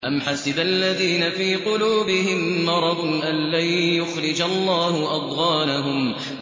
أَمْ حَسِبَ الَّذِينَ فِي قُلُوبِهِم مَّرَضٌ أَن لَّن يُخْرِجَ اللَّهُ أَضْغَانَهُمْ